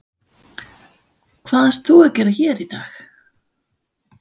Hvað ert þú að gera hér í dag?